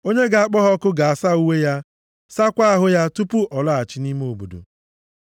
Onye ga-akpọ ha ọkụ ga-asa uwe ya, saakwa ahụ ya tupu ọ laghachi nʼime obodo.